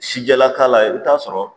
Sijɛlakala i bi taa sɔrɔ